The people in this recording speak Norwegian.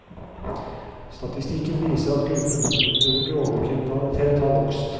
Statistikken viser at gruppen som utøver grovere kriminalitet har vokst.